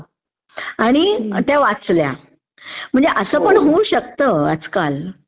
आणि त्या वाचल्या. म्हणजे असं पण होऊ शकतं आज काल...